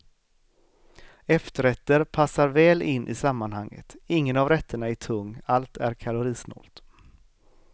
Efterrätter passar väl in i sammanhanget, ingen av rätterna är tung, allt är kalorisnålt.